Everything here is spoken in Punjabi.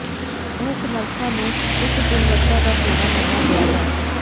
ਇਹ ਸਮਰੱਥਾ ਨੂੰ ਉੱਚ ਗੁਣਵੱਤਾ ਦਾ ਹੋਣਾ ਮੰਨਿਆ ਗਿਆ ਹੈ